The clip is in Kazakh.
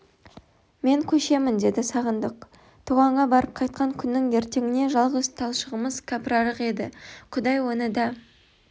мен көшемін деді сағындық тоғанға барып қайтқан күннің ертеңіне жалғыз талшығымыз кәпірарық еді құдай оны да